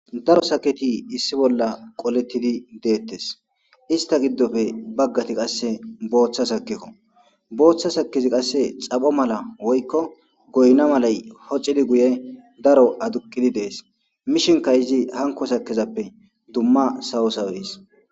Daro sakketi issi bolla qoletidi de'etes ista giddope baggati qasse booththa sakkeko booththa sakkezi qasse xapho mala woykko goyna malay hoxidi guye daro aduqidi dees mishinikka izi hanko sakkezappe dumma sawo sawees.